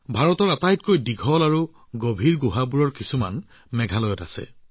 ভাৰতৰ কিছুমান দীঘল আৰু গভীৰ গুহা মেঘালয়ত আছে